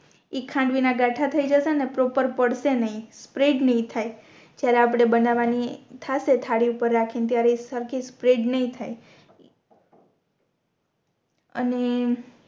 ઇ ખાંડવી ના ગાથા થઈ જશે ને પ્રોપર પડશે નય સ્પ્રેડ નય થાય જ્યારે આપણે બનવાની થસે થાળી પર રાખી ત્યારે એક સરખી સ્પ્રેડ નય થાય અને